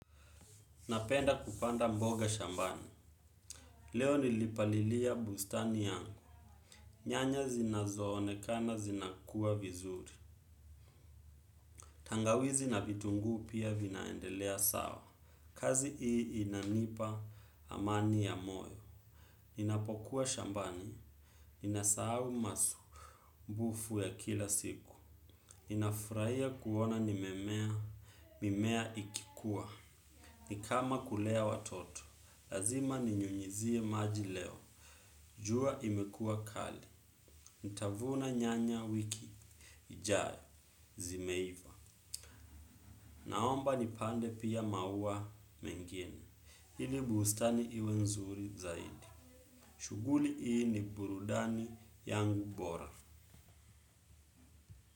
Napenda kupanda mboga shambani. Leo nilipalilia bustani yangu. Nyanya zinazo onekana zinakua vizuri. Tangawizi na vitunguu pia vinaendelea sawa. Kazi ii inanipa amani ya moyo. Ninapokuwa shambani. Ninasau masu. Mbufu ya kila siku. Ninafraia kuona nimemea. Mimea ikikuwa. Nikama kulea watoto. Lazima ninyunyizie maji leo. Jua imekua kali, ntavuna nyanya wiki, ijayo, zimeiva, naomba nipande pia maua mengine, hili buustani iwe nzuri zaidi, shuguli ii ni burudani yangu bora.